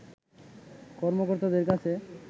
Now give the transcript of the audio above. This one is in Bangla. কর্মকর্তাদের কাছে